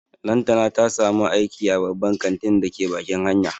Lantana ta samu aiki a babban kantin da ke bakin hanya